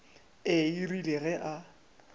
ee e rile ge a